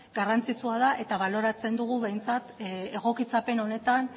garrantzitsua da eta baloratzen dugu behintzat egokitzapen honetan